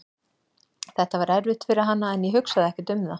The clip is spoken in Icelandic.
Þetta var erfitt fyrir hana en ég hugsaði ekkert um það.